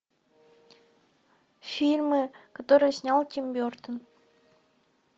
фильмы которые снял тим бертон